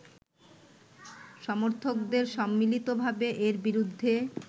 সমর্থকদের সম্মিলিতভাবে এর বিরুদ্ধে